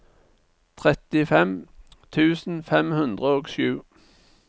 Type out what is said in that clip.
trettifem tusen fem hundre og sju